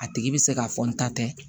A tigi bɛ se ka fɔ n ta tɛ